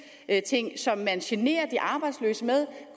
som man generer de arbejdsløse med